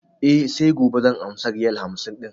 E, sai gobe zan amsa riyal hamsin ɗin.